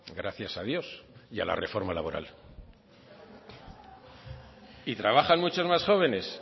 gracias a dios y a la reforma laboral y trabajan muchos más jóvenes